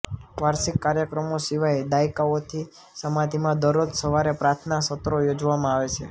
વાર્ષિક કાર્યક્રમો સિવાય દાયકાઓથી સમાધિમાં દરરોજ સવારે પ્રાર્થના સત્રો યોજવામાં આવે છે